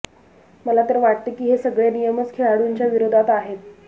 मला तर वाटते की हे सगळे नियमच खेळाडूंच्या विरोधात आहेत